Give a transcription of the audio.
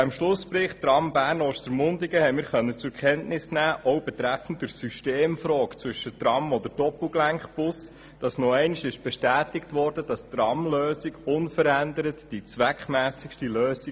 Im Schlussbericht Tram Bern–Ostermundigen konnten wir zur Kenntnis nehmen, dass auch bezüglich der Systemfrage Tram oder Doppelgelenkbus nochmals bestätigt wurde, die Tramlösung sei unverändert die zweckmässigste Lösung.